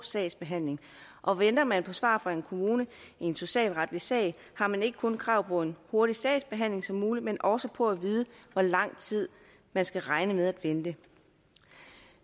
sagsbehandling og venter man på svar fra en kommune i en socialretlig sag har man ikke kun krav på en hurtig sagsbehandling som muligt men også på at vide hvor lang tid man skal regne med at vente